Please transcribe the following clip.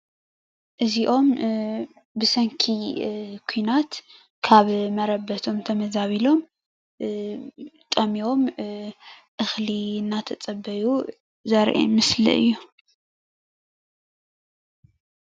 እዚኦም ብሰንኪ ኲናት ካብ መረበቶም ተመዛቢሎም ጠምዮም እኽሊ እናተፀበዩ ዘርኢ ምስሊ እዩ።